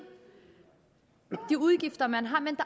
de udgifter man har men